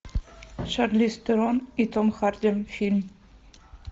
шарлиз терон и том харди фильм